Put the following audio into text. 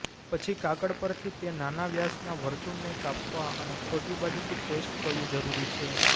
પછી કાગળ પરથી તે નાના વ્યાસના વર્તુળને કાપવા અને ખોટી બાજુથી પેસ્ટ કરવું જરૂરી છે